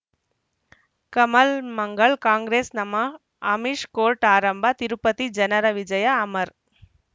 ಕಮಲ್ ಮಂಗಳ್ ಕಾಂಗ್ರೆಸ್ ನಮಃ ಅಮಿಷ್ ಕೋರ್ಟ್ ಆರಂಭ ತಿರುಪತಿ ಜನರ ವಿಜಯ ಅಮರ್